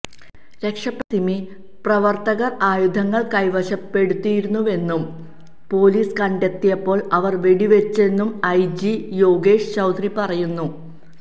രക്ഷപ്പെട്ട സിമി പ്രവര്ത്തകര് ആയുധങ്ങള് കൈവശപ്പെടുത്തിയിരുന്നുവെന്നും പോലീസ് കണ്ടെത്തിയപ്പോള് അവര് വെടിവെച്ചെന്നും ഐജി യോഗേഷ് ചൌധരി പറയുന്നു